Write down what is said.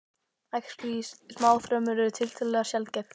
Æxli í smáþörmum eru tiltölulega sjaldgæf.